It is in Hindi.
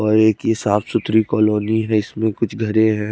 और एक हिसाब से है इसमें कुछ धरे है।